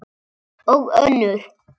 Og önnur